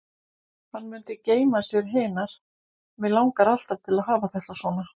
Hann mundi geyma sér hinar: Mig langar alltaf til að hafa þetta svona.